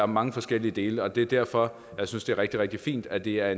mange forskellige dele og det er derfor jeg synes det er rigtig rigtig fint at det er